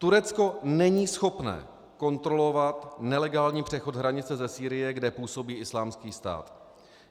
Turecko není schopné kontrolovat nelegální přechod hranice ze Sýrie, kde působí Islámský stát.